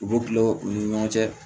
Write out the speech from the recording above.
U bɛ tila u ni ɲɔgɔn cɛ